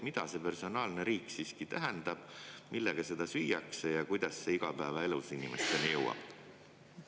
Mida see personaalne riik siiski tähendab, millega seda süüakse ja kuidas see igapäevaelus inimesteni jõuab?